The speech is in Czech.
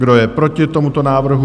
Kdo je proti tomuto návrhu?